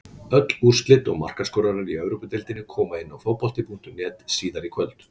Öll úrslit og markaskorarar í Evrópudeildinni koma inn á Fótbolta.net síðar í kvöld.